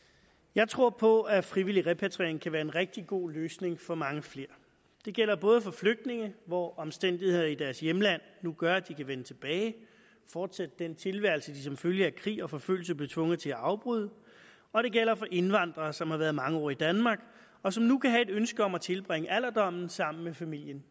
jeg tror på at frivillig repatriering kan være en rigtig god løsning for mange flere det gælder både for flygtninge hvor omstændigheder i deres hjemland nu gør at de kan vende tilbage fortsætte den tilværelse de som følge af krig og forfølgelse blev tvunget til at afbryde og det gælder for indvandrere som har været mange år i danmark og som nu kan have et ønske om at tilbringe alderdommen sammen med familien